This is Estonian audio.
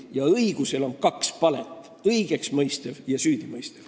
Ja õigusel on kaks palet: õigeksmõistev ja süüdimõistev.